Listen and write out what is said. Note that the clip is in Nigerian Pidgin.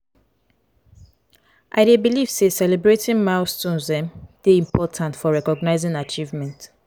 i dey believe say celebrating milestones um dey important for recognizing achievements.